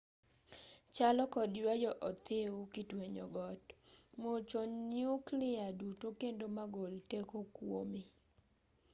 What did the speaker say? chalo kod ywayo othiwi kitwenyo got muocho nyukliya duto kendo magol teko kuome